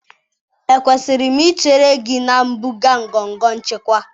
Ekwesịrị m ichere gị na mpụga ngọngọ nchịkwa?